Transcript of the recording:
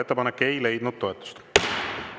Ettepanek ei leidnud toetust.